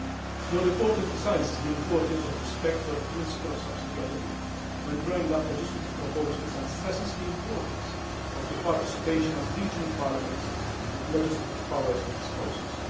Your report emphasises the importance of respect for the principle of subsidiarity when drawing up legislative proposals and stresses the importance of the participation of regional parliaments with legislative powers in this process.